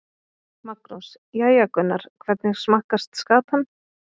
Magnús: Jæja Gunnar, hvernig smakkast skatan?